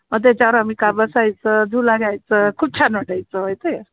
म त्याच्यावर आम्ही बसायचं झुला घ्यायचं खूप छान वाटायचं माहितीये